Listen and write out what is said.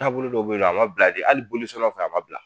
Taabolo dɔw be yen nɔ a ma bila de, hali bolisɔnnaw fe ye a ma bila.